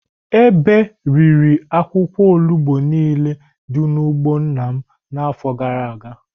Ebe riri akwụkwọ olugbu nile dị n'ugbo nna m n'afọ gara aga.